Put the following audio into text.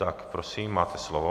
Tak prosím, máte slovo.